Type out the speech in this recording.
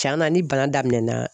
Tiɲɛn na ni bana daminɛna